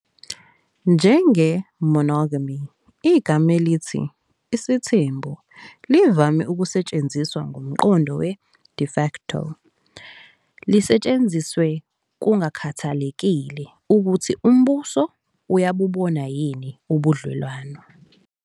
Njenge "monogamy", igama elithi "isithembu" livame ukusetshenziswa ngomqondo we- "de facto", lisetshenziswe kungakhathalekile ukuthi umbuso uyabubona yini ubudlelwano.